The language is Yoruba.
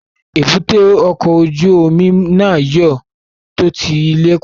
Èbúté ọkọ̀ ojú omi náà yóò tó ti ilẹ̀kùn